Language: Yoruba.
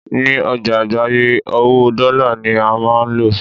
ní ọjà àgbáyé, owó dọ́là ní a ó ma lò